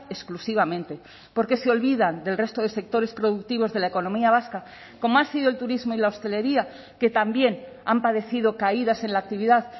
exclusivamente porque se olvidan del resto de sectores productivos de la economía vasca como ha sido el turismo y la hostelería que también han padecido caídas en la actividad